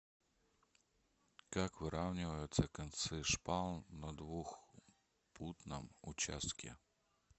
как выравниваются концы шпал на двухпутном участке